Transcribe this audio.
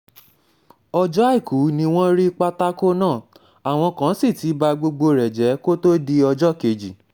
ọjọ́ àìkú ni wọ́n rí pátákó náà àwọn kan sì ti ba gbogbo rẹ̀ jẹ́ kó tóó di ọjọ́ kejì